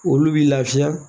Olu b'i lafiya